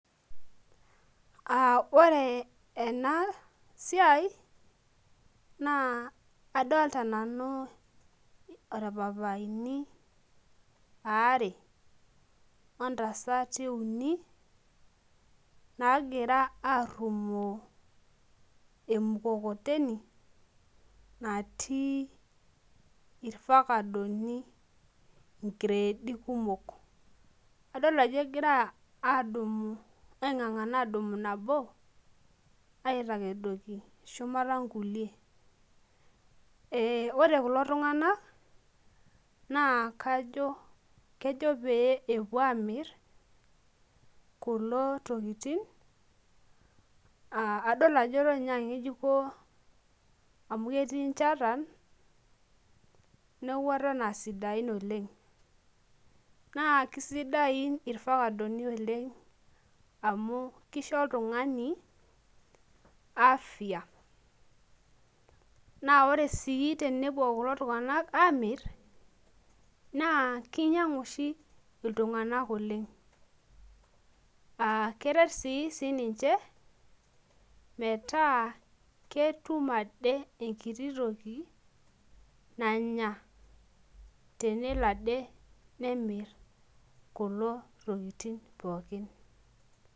Uh ore ena siai naa adolta nanu orpapaini aare ontasati uni naagira arrumoo emukokoteni natii irfakadoni inkireedi kumok adol ajo egira adumu aing'ang'ana adumu nabo aitakedoki shumata nkulie eh ore kulo tung'anak naa kajo kejo pee epuo amirr kulo tokitin uh adol ajo eton inye ang'ejuko amu ketii inchatan neku eton asidain oleng naa kisidain irfakadoni oleng amu kisho oltung'ani afya naa ore sii tenepuo kulo tung'anak amirr naa kinyiang'u oshi iltung'anak oleng akeret sininche metaa ketum ade enkiti toki nanya tenelo ade nemirr kulo tokiting pookin.